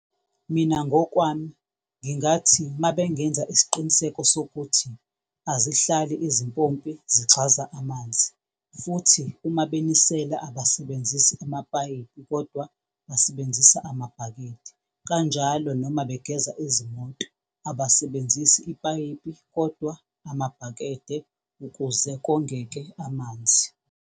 Mina ngokwami ngingathi mabengenza isiqiniseko sokuthi azihlali izimpopi zigxaza amanzi futhi uma benisela abasebenzisi amapayipi, kodwa basebenzisa amabhakede. Kanjalo noma begeza izimoto abasebenzisi ipayipi, kodwa amabhakede ukuze kongeke amanzi.